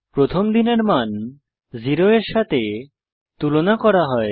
প্রথমে দিনের মান 0 এর সাথে তুলনা করা হয়